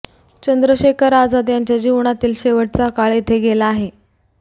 चंद्रशेखर आझाद यांच्या जीवनातील शेवटचा काळ येथे गेला आहे